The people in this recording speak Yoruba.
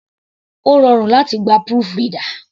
Ó rọrùn láti gba proofreader.